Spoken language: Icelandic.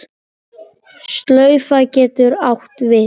Slaufa getur átt við